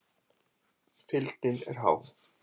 Fylgnin er há.